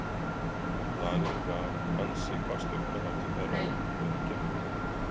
Daninn gaf ansi hvasst augnaráð til þeirra þegar hann gekk af velli.